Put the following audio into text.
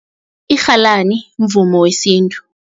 Irhalani mvumo wesintu.